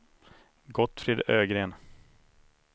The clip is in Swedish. Gottfrid Ögren